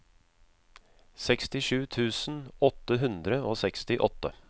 sekstisju tusen åtte hundre og sekstiåtte